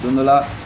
Don dɔ la